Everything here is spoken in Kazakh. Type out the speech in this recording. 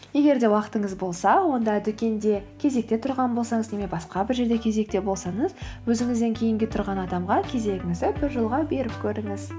егер де уақытыңыз болса онда дүкенде кезекте тұрған болсаңыз немесе басқа бір жерде кезекте болсаңыз өзіңізден кейінгі тұрған адамға кезегіңізді біржолға беріп көріңіз